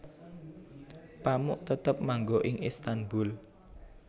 Pamuk tetep manggo ing Istanbul